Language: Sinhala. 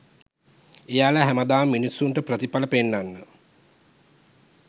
එයාල හැමදාම මිනිස්සුන්ට ප්‍රතිපල පෙන්නන්න